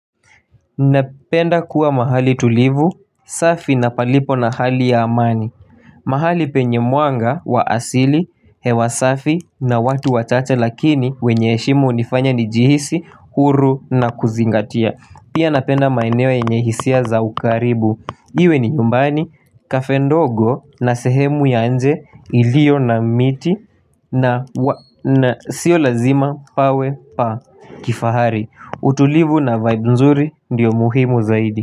Napenda kuwa mahali tulivu, safi na palipo na hali ya amani mahali penye mwanga wa asili, hewa safi na watu wachache lakini wenye heshimu hunifanya nijihisi, huru na kuzingatia Pia napenda maeneo yenye hisia za ukaribu Iwe ni nyumbani, kafe ndogo na sehemu ya nje ilio na miti na sio lazima pawe pa kifahari utulivu na vaib nzuri ndio muhimu zaidi.